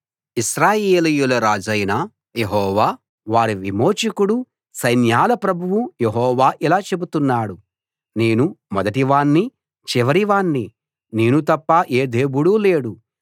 ఇశ్రాయేలీయుల రాజైన యెహోవా వారి విమోచకుడు సైన్యాల ప్రభువు యెహోవా ఇలా చెబుతున్నాడు నేను మొదటివాణ్ణి చివరివాణ్ణి నేను తప్ప ఏ దేవుడు లేడు